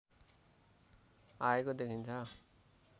आएको देखिन्छ